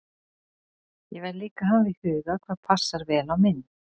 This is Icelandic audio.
Ég verð líka að hafa í huga hvað passar vel á mynd.